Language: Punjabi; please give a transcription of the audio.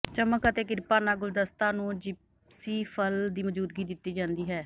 ਚਮਕ ਅਤੇ ਕਿਰਪਾ ਨਾਲ ਗੁਲਦਸਤਾ ਨੂੰ ਜਿਪਸੀਫਲ ਦੀ ਮੌਜੂਦਗੀ ਦਿੱਤੀ ਜਾਂਦੀ ਹੈ